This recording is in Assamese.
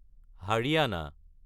হৰিয়ানা